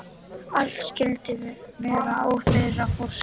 Allt skyldi vera á þeirra forsendum